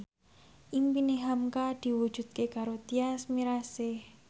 impine hamka diwujudke karo Tyas Mirasih